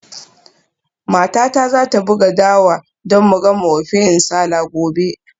Matata za ta buga dawa don mu gama ofe nsala gobe.